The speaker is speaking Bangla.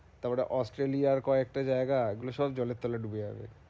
তারপরে অস্ট্রেলিয়ার কয়েকটা জায়গা এগুলো সব জলের তলে ডুবে যাবে